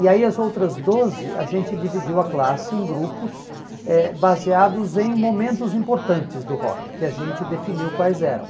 E aí as outras doze, a gente dividiu a classe em grupos eh baseados em momentos importantes do rock, que a gente definiu quais eram.